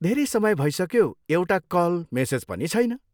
धेरै समय भइसक्यो, एउटा कल, मेसेज पनि छैन।